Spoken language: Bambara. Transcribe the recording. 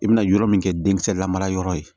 I bɛna yɔrɔ min kɛ denkisɛ la mara yɔrɔ ye